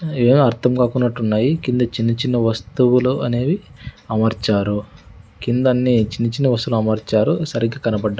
ఏదో అర్థం కాకున్నట్టున్నాయి కింద చిన్న-చిన్న వస్తువులు అనేవి అమర్చారు కిందన్నీ చిన్న-చిన్న వస్తువులు అమర్చారు సరిగ్గా కనబడ్డ --